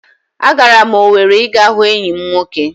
Agara m Owere ịga hụ enyi m nwoke